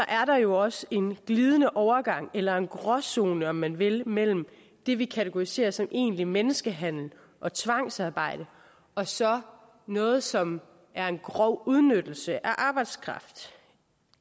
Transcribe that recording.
er der jo også en glidende overgang eller en gråzone om man vil mellem det vi kategoriserer som egentlig menneskehandel og tvangsarbejde og så noget som er en grov udnyttelse af arbejdskraft